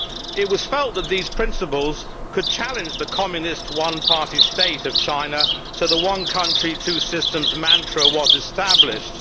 It was felt that these principles could challenge the Communist one party state of China, so the one country, two systems' mantra was established.